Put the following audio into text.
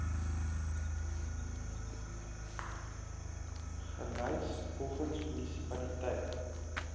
gelys volgens munisipaliteit